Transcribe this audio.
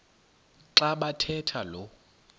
xa bathetha lo